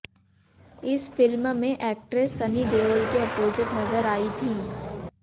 इस फिल्म में एक्ट्रेस सनी देओल के अपोजिट नजर आईं थी